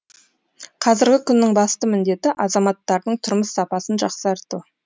қазіргі күннің басты міндеті азаматтардың тұрмыс сапасын жақсарту